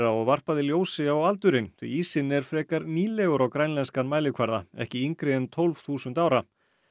og varpaði ljósi á aldurinn því ísinn er frekar nýlegur á grænlenskan mælikvarða ekki yngri en tólf þúsund ára